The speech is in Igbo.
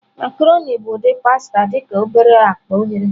Macroni bụ ụdị pasta dị ka obere akpa oghere.